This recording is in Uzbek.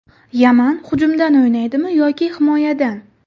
Yaman hujumdan o‘ynaydimi yoki himoyadan?